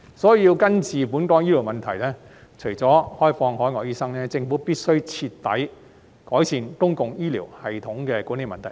所以，要根治本港的醫療問題，除了開放海外醫生，政府必須徹底改善公共醫療系統的管理問題。